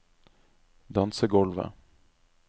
dansegulvet